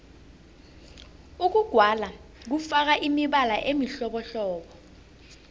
ukugwala kufaka imibala emihlobohlobo